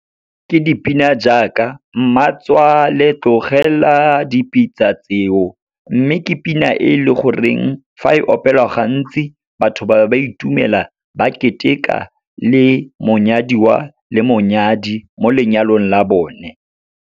Ke dipina jaaka mmatswale tlogela dipitsa tseo. Mme, ke pina e leng gore fa e opelwa gantsi, batho ba ba itumela, ba keteka le monyadiwa le monyadi mo lenyalong la bone.